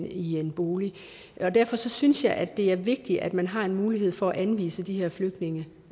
i en bolig og derfor synes jeg at det er vigtigt at man har en mulighed for at anvise de her flygtninge